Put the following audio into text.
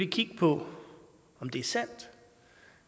kigge på om det er sandt